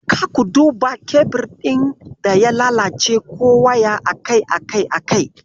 Ka duba kebir ɗin da ya lalace ko waya akai akai-akai.